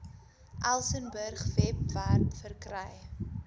elsenburg webwerf verkry